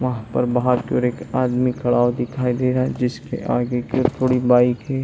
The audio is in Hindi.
वहाँ पर बहोत दुर एक आदमी खड़ा हुआ दिखाई दे रहा है जिसके आगे के थोड़े बाइक है।